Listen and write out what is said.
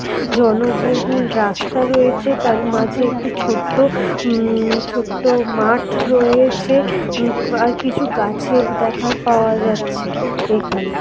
জনবহুল রাস্তা রয়েছে। তার মাঝে একটি ছোট্ট উম ছোট্ট মাঠ রয়েছে। আর কিছু গাছের দেখার পাওয়া যাচ্ছে এখানে।